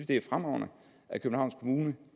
det er fremragende at københavns kommune